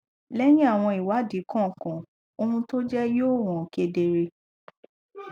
lẹyìn àwọn ìwádìí kọòkan ohun tó jẹ yoò hàn kedere